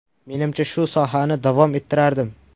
Menimcha, shu sohani davom ettirardim.